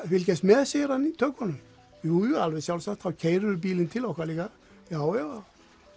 fylgjast með segir hann í tökunum jú alveg sjálfsagt þá bílinn til okkar líka já já